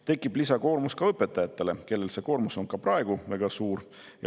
Tekib lisakoormus õpetajatele, kellel see koormus on ka praegu väga suur.